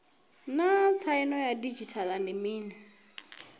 naa tsaino ya didzhithala ndi mini